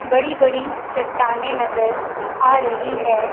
बड़ी बड़ी चट्टाने नज़र आ रही है।